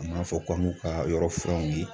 An b'a fɔ k'an k'u ka yɔrɔ furan ye